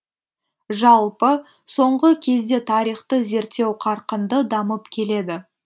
жалпы соңғы кезде тарихты зерттеу қарқынды дамып келеді